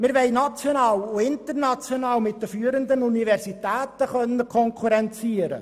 Wir wollen national und international mit den führenden Universitäten konkurrieren.